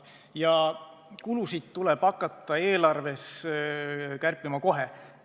Ja kulusid tuleb hakata eelarves kärpima kohe.